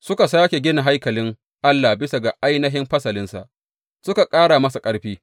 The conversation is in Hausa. Suka sāke gina haikalin Allah bisa ga ainihin fasalinsa suka ƙara masa ƙarfi.